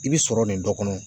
I bi sɔrɔ nin dɔ kɔnɔ.